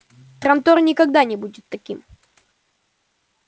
трантор никогда не будет таким